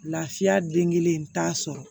Lafiya den kelen t'a sɔrɔ